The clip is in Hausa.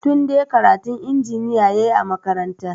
Tunde karatun injiniya ya yi a makaranta.